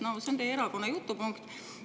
No see on teie erakonna jutupunkt.